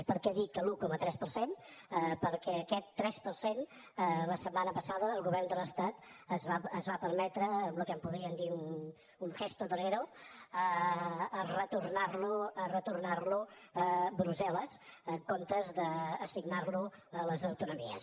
i per què dic l’un coma tres per cent perquè aquest tres per cent la setmana passada el govern de l’estat es va permetre en el que podríem dir un gesto torero retornarlo a brussel·les en comptes d’assignarlo a les autonomies